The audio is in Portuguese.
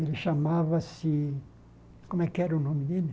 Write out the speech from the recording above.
Ele chamava-se... Como é que era o nome dele?